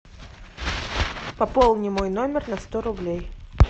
пополни мой номер на сто рублей